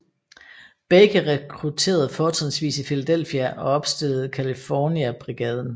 Baker rekrutterede fortrinsvis i Philadelphia og opstillede California Brigaden